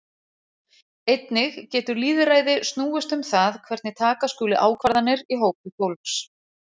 Einnig getur lýðræði snúist um það hvernig taka skuli ákvarðanir í hópi fólks.